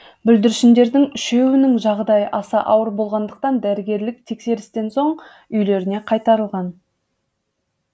бүлдіршіндердің үшеуінің жағдайы аса ауыр болмағандықтан дәрігерлік тексерістен соң үйлеріне қайтарылған